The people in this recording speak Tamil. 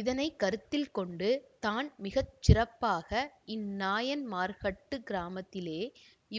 இதனை கருத்தில் கொண்டு தான் மிக சிறப்பாக இந் நாயன்மார்கட்டு கிராமத்திலே